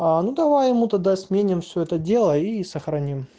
а ну давай ему тогда сменим все это дело и сохрани